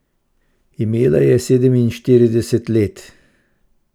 Imela je sedeminštirideset let.